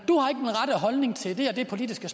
holdning til det og det politiske